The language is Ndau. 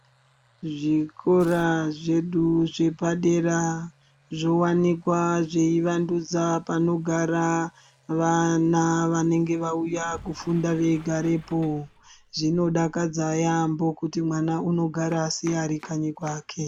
Zvikora zvedu zvepadera zvowanikwa zveivandudza panogara vana vanenge vauya kufunda veigarepo. Zvinodakadza yaambo kuti mwana anogara seari kanyi kwake.